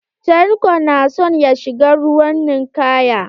Tanko na son ya shiga ruwan ninkaya.